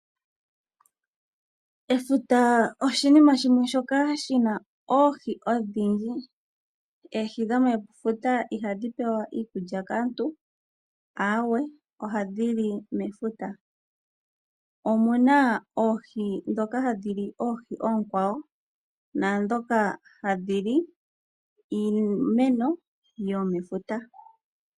Efuta oshinima shimwe shoka shi na oohi odhindji. Oohi dhomefuta ihadhi pewa iikulya kaantu, aawe, ohadhi li mefuta. Omu na oohi ndhoka hadhi li oohi oonkwawo, naandhoka hadhi li iimeno yomefuta.